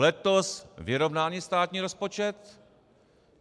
Letos vyrovnaný státní rozpočet.